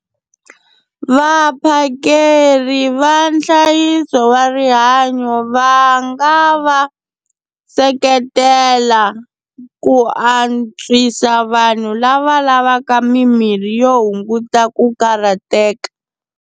Vaphakeri va nhlayiso wa rihanyo va nga va seketela ku antswisa vanhu lava lavaka mimirhi yo hunguta ku karhateka.